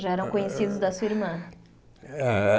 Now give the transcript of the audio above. Já eram conhecidos da sua irmã? É